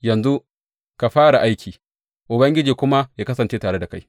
Yanzu ka fara aiki, Ubangiji kuma ya kasance tare da kai.